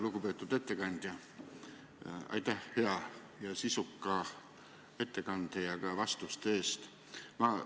Lugupeetud ettekandja, aitäh hea sisuka ettekande ja vastuste eest!